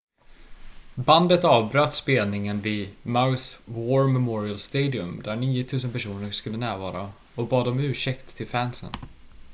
bandet avbröt spelningen vid mauis war memorial stadium där 9 000 personer skulle närvara och bad om ursäkt till fansen